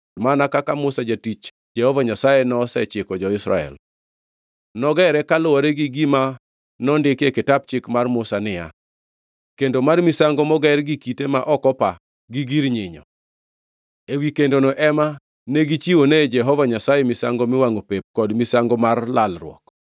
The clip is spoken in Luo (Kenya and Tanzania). mana kaka Musa jatich Jehova Nyasaye nosechiko jo-Israel. Nogere kaluwore gi gima nondiki e kitap Chik mar Musa niya, Kendo mar misango moger gi kite ma ok opa, gi gir nyinyo. Ewi kendono ema negichiwone Jehova Nyasaye misango miwangʼo pep kod misango mar lalruok.